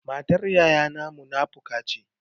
Matar yayana munafuka ce.